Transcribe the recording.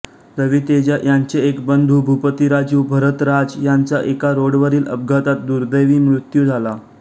रवि तेजा यांचे एक बंधू भूपतिराजू भरथ राज यांचा एका रोडवरील अपघातात दुर्दैवी मृत्यू झाला